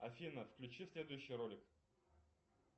афина включи следующий ролик